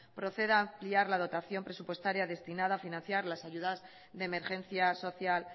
proceda a ampliar la dotación presupuestaria destinada a financiar las ayudas de emergencia social